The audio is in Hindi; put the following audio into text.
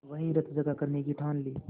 वहीं रतजगा करने की ठान ली